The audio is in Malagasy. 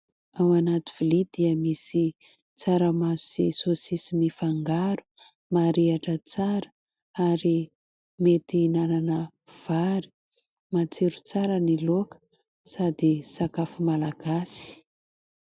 Ao anaty vilia dia misy tsaramaso sy saosisy mifangaro, marihitra tsara ary mety hinanana vary. Matsiro tsara ny laoka sady sakafo malagasy.